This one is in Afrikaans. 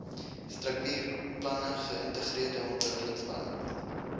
struktuurplanne geïntegreerde ontwikkelingsplanne